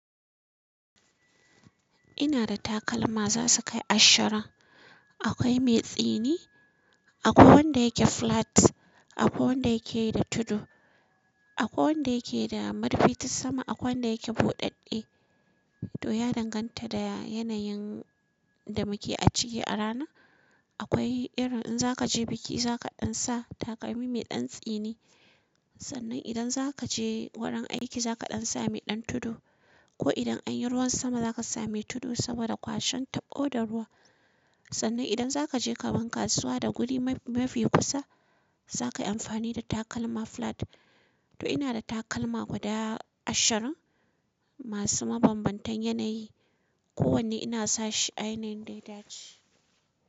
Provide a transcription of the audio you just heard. Ina da takalma za su kai ashirin. Akwai mai tsini, akwai wanda yake flat, akwai wanda yake yi da tudu, akwai wanda yake da murfi ta sama, akwai wanda yake buɗaɗɗe. To ya danganta da yanayin da muke a ciki a rana. Akwai irin in zaka je biki za ka ɗan sa takalmi mai ɗan tsini. Sannan idan zaka je wurin aiki za ka ɗan sa mai ɗan tudu. Ko idan anyi ruwan sama za ka sa mai tudu saboda kwashen tabo da ruwa. Sannan idan zaka je ka gan kasuwa da guri mafi kusa za ka yi amfani da takalma flat. To ina da takalma guda ashirin masu mabanbantan yanayi. Ko wanne ina sa shi a yanayin da ya dace.